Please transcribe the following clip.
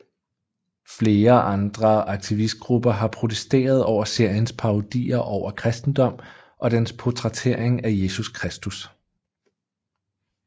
Flere andre aktivistgrupper har protesteret over seriens parodier over kristendom og dens portrættering af Jesus Kristus